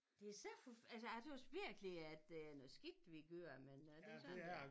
Det så for altså jeg tøs virkelig at det er noget skidt vi kører men øh det sådan det er